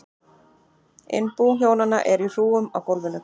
Innbú hjónanna er í hrúgum á gólfum.